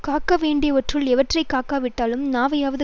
காக்க வேண்டியவற்றுள் எவற்றை காக்கா விட்டாலும் நாவையாவது